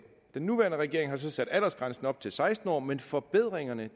den nuværende regering har så sat aldersgrænsen op til seksten år men forbedringerne